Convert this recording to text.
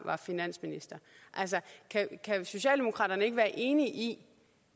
finansminister altså kan socialdemokraterne ikke være enige i